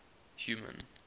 human